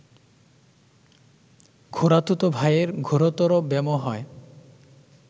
খুড়াতুতো ভায়ের ঘোরতর ব্যামোহ হয়